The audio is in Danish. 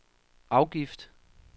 afgift